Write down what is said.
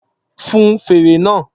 Fun fèrè náà!